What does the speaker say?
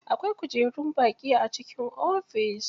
Akwai kujerun baƙi a cikin ofis.